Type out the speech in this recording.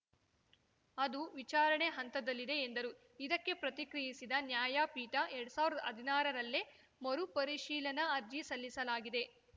ಅದು ವಿಚಾರಣೆ ಹಂತದಲ್ಲಿದೆ ಎಂದರು ಇದಕ್ಕೆ ಪ್ರತಿಕ್ರಿಯಿಸಿದ ನ್ಯಾಯಪೀಠ ಎರಡ್ ಸಾವಿರ್ದಾ ಹದ್ನಾರರಲ್ಲೇ ಮರುಪರಿಶೀಲನಾ ಅರ್ಜಿ ಸಲ್ಲಿಸಲಾಗಿದೆ